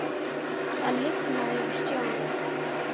Það lifnaði yfir Stjána.